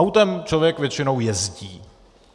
Autem člověk většinou jezdí.